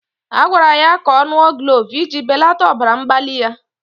A gwara ya ka ọ ṅụọ glove iji belata ọbara mgbali ya